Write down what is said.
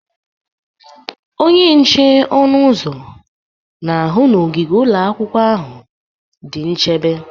Onye nche ọnụ ụzọ na-ahụ na ogige ụlọ akwụkwọ ahụ dị nchebe